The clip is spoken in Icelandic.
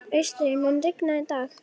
Framkvæmd vítaspyrna?